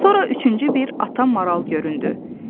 Sonra üçüncü bir ata maral göründü.